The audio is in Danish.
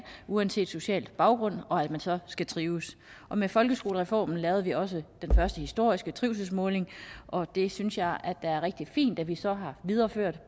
uanset social baggrund og at man så skal trives og med folkeskolereformen lavede vi også den første historiske trivselsmåling og det synes jeg er rigtig fint at vi så har videreført